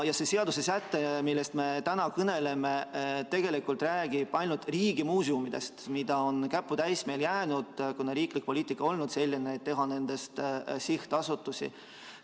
See seadusesäte, millest me täna kõneleme, räägib tegelikult ainult riigimuuseumidest, mida meil on jäänud käputäis, kuna riiklik poliitika on olnud selline, et teha nendest sihtasutused.